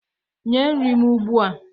nye nri m ugbua!